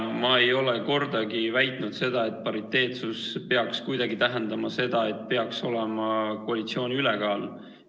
No ma ei ole kordagi väitnud, et pariteetsus peaks kuidagi tähendama seda, et peaks olema koalitsiooni ülekaal.